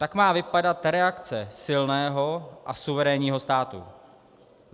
Tak má vypadat reakce silného a suverénního státu.